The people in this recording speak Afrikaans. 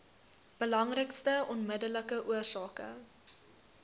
belangrikste onmiddellike oorsake